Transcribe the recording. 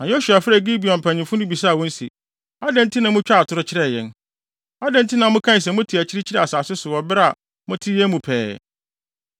Na Yosua frɛɛ Gibeonfo mpanyimfo no bisaa wɔn se, “Adɛn nti na mutwaa atoro kyerɛɛ yɛn? Adɛn nti na mokaa se mote akyirikyiri asase so wɔ bere a mote yɛn mu pɛɛ?